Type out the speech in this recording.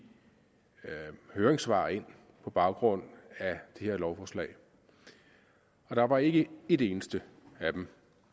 høringssvar ind på baggrund af det her lovforslag og der var ikke et eneste af dem